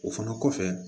O fana kɔfɛ